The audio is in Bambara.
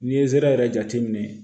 N'i ye zera yɛrɛ jateminɛ